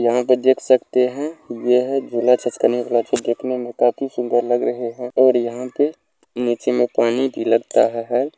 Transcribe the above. यहां पे देख सकते है यह गीला चस्का ने गेट मे काफी सुंदर लग रहे है ओर यहां पे नीचे मे पानी भी लगता है।